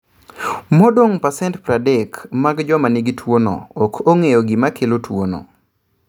Modong percent 30 mag joma nigi tuwono, ok ong'e gima kelo tuwono.